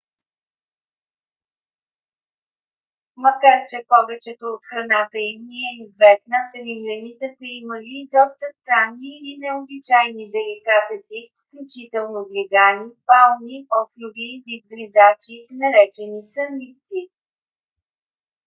макар че повечето от храната им ни е известна римляните са имали и доста странни или необичайни деликатеси включително глигани пауни охлюви и вид гризачи наречени сънливци